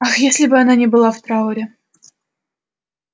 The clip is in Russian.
ах если бы она не была в трауре